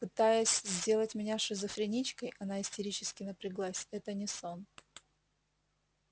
пытаясь сделать меня шизофреничкой она истерически напряглась это не сон